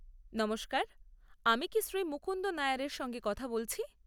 নমস্কার, আমি কি শ্রী মুকুন্দন নায়ারের সঙ্গে কথা বলছি?